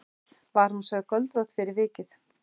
Var hún sögð göldrótt fyrir vikið.